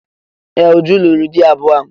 Ee! Uju lụrụ di abụọ.